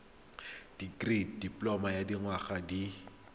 dikirii dipoloma ya dinyaga di